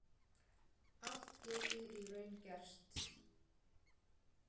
Allt geti í raun gerst